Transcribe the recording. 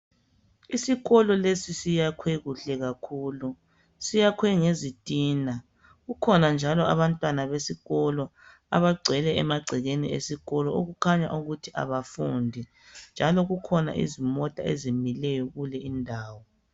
Isikolo lesi siyakhwe kuhle kakhulu siyakhwe ngezitina kukhona njalo abantwana besikolo abagcwele emagcekeni esikolo okukhanya ukuthi abafundi njalo kukhona izimota ezimileyo kule indawo.